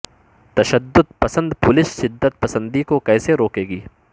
تشدد پسند پولیس شدت پسندی کو کیسے روکے گی